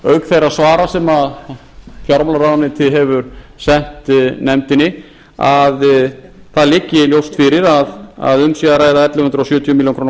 ríkisendurskoðandaauk þeirra svara sem fjármálaráðuneytið hefur sent nefndinni að það liggi ljóst fyrir að um sé að ræða ellefu hundruð sjötíu milljónum króna kostnað